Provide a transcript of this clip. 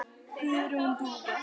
Guðrún Dúfa.